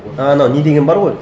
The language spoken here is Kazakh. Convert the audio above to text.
і анау не деген бар ғой